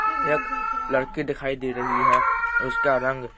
एक लड़की दिखाई दे रही है उसका रंग--